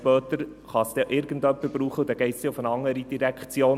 Später kann es dann irgendjemand brauchen, dann geht es an eine andere Direktion.